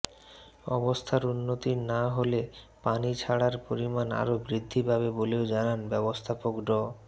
অবস্থার উন্নতি না হলে পানি ছাড়ার পরিমাণ আরো বৃদ্ধি পাবে বলেও জানান ব্যবস্থাপক ড